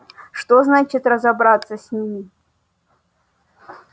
что значит разобраться с ними